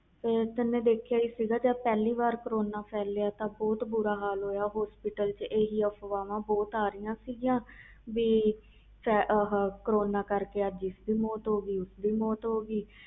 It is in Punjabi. ਤੂੰ ਦੇਖਿਆ ਹੋਣਾ ਜਦੋ ਪਹਿਲੀ ਵਾਰ ਕਰੋਨਾ ਫੈਲਿਆ ਸੀ ਤਾ ਬਹੁਤ ਬੁਰਾ ਹਾਲ ਹੋਇਆ ਸੀ ਹਸਪਤਾਲ ਵਿਚ ਹੀ ਅਹਫ਼ਵਾਵ ਸੀ ਕਿ ਅਜ ਇਸ ਦੀ ਮੌਤ ਹੋ ਗਈ ਕਰੋਨਾ ਕਰਕੇ ਕਲ ਉਸਦੀ ਗਈ